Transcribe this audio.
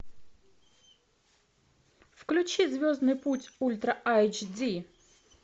включи звездный путь ультра эйч ди